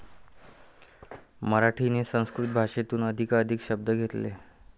मराठीने संस्कृत भाषेतून अधिकाधिक शब्द घेतले.